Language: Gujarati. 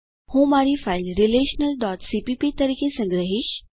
હું મારી ફાઇલ relationalસીપીપી તરીકે સંગ્રહીશ